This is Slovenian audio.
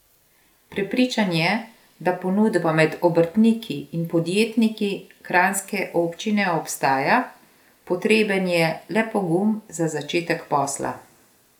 Prepričan je, da ponudba med obrtniki in podjetniki kranjske občine obstaja, potreben je le pogum za začetek posla.